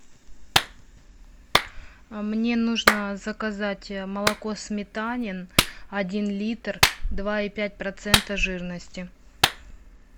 мне нужно заказать молоко сметанин один литр два и пять процента жирности